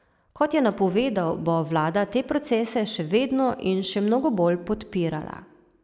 Kot je napovedal, bo vlada te procese še vedno in še mnogo bolj podpirala.